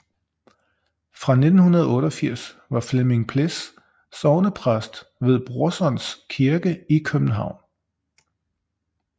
Fra 1988 var Flemming Pless sognepræst ved Brorsons Kirke i København